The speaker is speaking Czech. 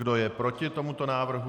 Kdo je proti tomuto návrhu?